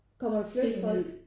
Kommer der flyttefolk?